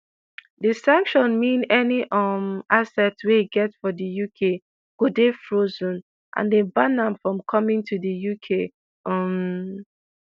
di sanction mean any um assets wey e get for di uk go dey frozen and dem ban am from coming to di uk. um